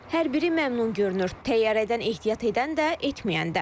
Hər biri məmnun görünür, təyyarədən ehtiyat edən də, etməyən də.